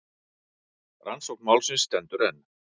Rannsókn málsins stendur enn.